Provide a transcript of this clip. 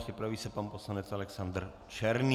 Připraví se pan poslanec Alexandr Černý.